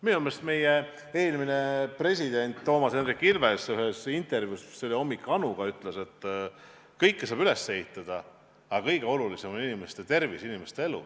Minu meelest meie eelmine president Toomas Hendrik Ilves ühes intervjuus , et kõike saab üles ehitada, aga kõige olulisem on inimeste tervis, inimeste elu.